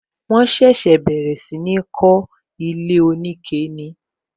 Wọn ṣẹ̀ṣẹ̀ bẹ̀rẹ̀ sí ní kó ilé onike ni